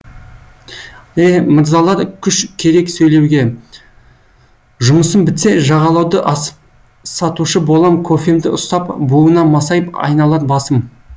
еһ мырзылар күш керек сөйлеуге жұмысым бітсе жағалауды асып сатушы болам кофемді ұстап буына масайып айналар басым